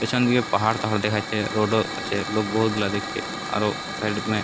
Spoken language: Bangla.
পিছন দিকে পাহাড় পাহাড় দেখা যাচ্ছে। রোড ও আছে। লোক বহত গুলা দেখতে। আরো সাইড এ --